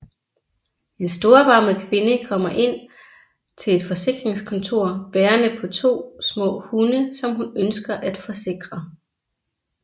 En storbarmet kvinde kommer ind til et forsikringskontor bærende på to små hunde som hun ønsker at forsikre